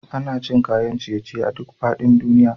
Ana cin kayan ciye ciye a duk faɗin duniya.